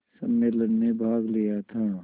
सम्मेलन में भाग लिया था